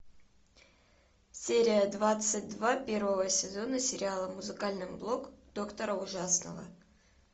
серия двадцать два первого сезона сериала музыкальный блог доктора ужасного